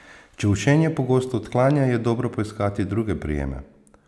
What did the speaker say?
Če učenje pogosto odklanja, je dobro poiskati druge prijeme.